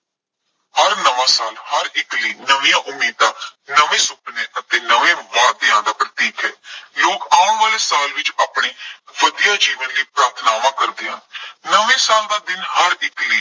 ਹਰ ਨਵਾਂ ਸਾਲ ਹਰ ਇੱਕ ਲਈ ਨਵੀਆਂ ਉਮੀਦਾਂ, ਨਵੇਂ ਸੁਪਨੇ ਅਤੇ ਨਵੇਂ ਵਾਅਦਿਆਂ ਦਾ ਪ੍ਰਤੀਕ ਹੈ। ਲੋਕ ਆਉਣ ਵਾਲੇ ਸਾਲ ਵਿੱਚ ਆਪਣੀ ਵਧੀਆ ਜੀਵਨ ਲਈ ਪ੍ਰਾਰਥਨਾਵਾਂ ਕਰਦੇ ਹਨ। ਨਵੇਂ ਸਾਲ ਦਾ ਦਿਨ ਹਰ ਇੱਕ ਲਈ